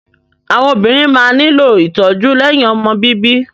Àwọn obìnrin ṣí máa nílò ìtọ́jú lẹ́yìn ọmọ bíbí.